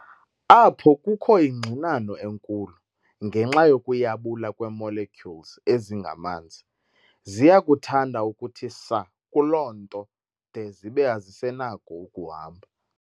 Apho kukho ingxinano enkulu, ngenxa yokuyabula kwee-molecules ezingamanzi, ziyakuthanda ukuthi saa kuloo nto de zibe azisenako ukuhamba.